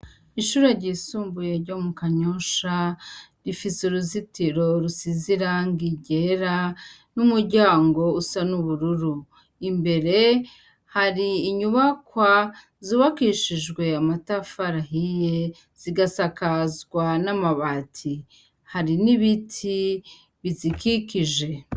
Ishure ry'isumbuye ryo mu Kanyosha, ifise ruzitiro risize irangi ryera n'umuryango usa n'ubururu. Imbere har'inyubakwa yubakishijwe amatafari ahiye, zigasakazwa n'amabati. Hari n'ibiti bizikikije.